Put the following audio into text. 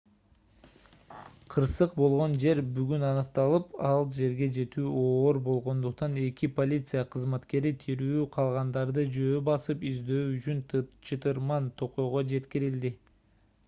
кырсык болгон жер бүгүн аныкталып ал жерге жетүү оор болгондуктан эки полиция кызматкери тирүү калгандарды жөө басып издөө үчүн чытырман токойго жеткирилди